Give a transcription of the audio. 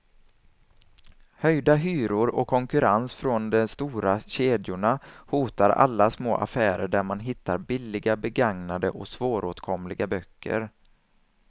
Höjda hyror och konkurrens från de stora kedjorna hotar alla små affärer där man hittar billiga, begagnade och svåråtkomliga böcker.